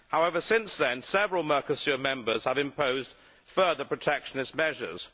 However, since then, several Mercosur members have imposed further protectionist measures.